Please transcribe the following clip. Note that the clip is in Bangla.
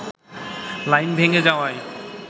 লাইন ভেঙে যাওয়ায়